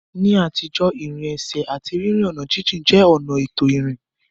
Ní àtijọ́, ìrìn ẹsẹ̀ àti rírin ọ̀nà jíjìn jẹ́ ọ̀nà ètò ìrìn.